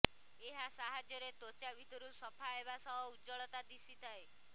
ଏହା ସାହାଯ୍ୟରେ ତ୍ୱଚା ଭିତରୁ ସଫା ହେବା ସହ ଉଜ୍ଜ୍ୱଳ ଦିଶିଥାଏ